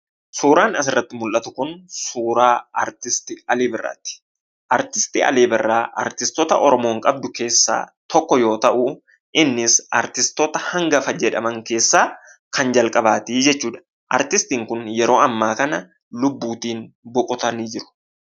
Suuraan asirratti mul'atu kun suuraa aartistii Alii Birraati. Aartist Alii Birraa aartistoota Oromoon qabdu keessaa tokko yemmuu ta'u, innis aartistoota hangafa jedhaman keessaa kan jalqabaati jechuudha. Aartistiin kun yeroo ammaa kana lubbuutiin boqotanii jiru.